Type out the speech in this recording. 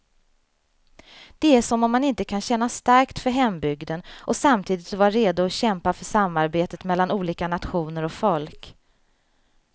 Det är som om man inte kan känna starkt för hembygden och samtidigt vara redo att kämpa för samarbete mellan olika nationer och folk.